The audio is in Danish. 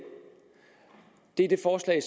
er et forslag i